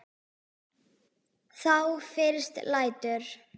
Þá fyrst lætur